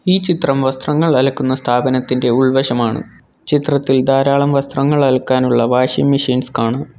ഈ ചിത്രം വസ്ത്രങ്ങൾ അലക്കുന്ന സ്ഥാപനത്തിൻ്റെ ഉൾവശമാണ് ചിത്രത്തിൽ ധാരാളം വസ്ത്രങ്ങൾ അലക്കാനുള്ള വാഷിംഗ് മെഷീൻസ് കാണാം.